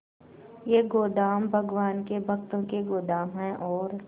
ये गोदाम भगवान के भक्तों के गोदाम है और